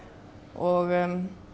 og